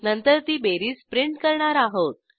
नंतर ती बेरीज प्रिंट करणार आहोत